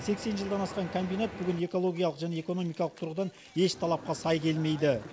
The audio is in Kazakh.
сексен жылдан асқан комбинат бүгін экологиялық және экономикалық тұрғыдан еш талапқа сай келмейді